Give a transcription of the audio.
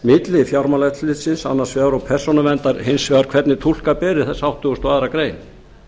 milli fjármálaeftirlitsins annars vegar og persónuverndar hins vegar hvernig túlka beri þessa áttugasta og aðra grein